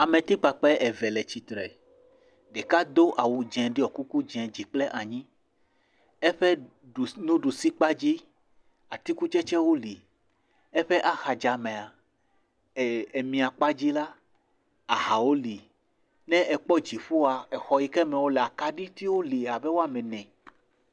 Ame tikpakpe eve le tsitre ɖeka do awu dzeŋ ɖiɔ kuku dzeŋ dzi kple anyi eƒe ɖu nuɖusi kpadzi atikutsetse wo li eƒe ahadza mea eee emia kpadzi la ahawo li ne ekpɔ dzifoa exɔ yike me wolea kaɖi tiwo li abe woame ene.